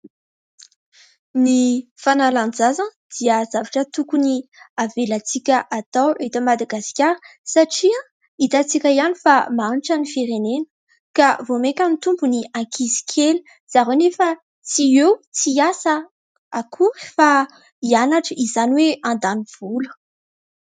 Ny fanalan-jaza dia zavatra tokony avelantsika atao eto Madagasikara satria hitantsika ihany fa mahantra ny firenena ka vao maika hitombo ny ankizy kely, zareo anefa tsy eo tsy hiasa akory fa hianatra izany hoe handany vola.